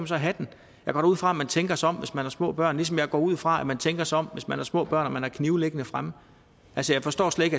så have den jeg går da ud fra at man tænker sig om hvis man har små børn ligesom jeg går ud fra at man tænker sig om hvis man har små børn og man har knive liggende fremme altså jeg forstår slet